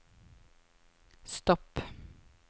stopp